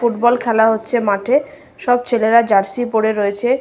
Football খেলা হচ্ছে মাঠে। সব ছেলেরা জার্সি পড়ে রয়েছে।